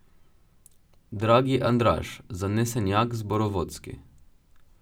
Dragi Andraž, zanesenjak zborovodski.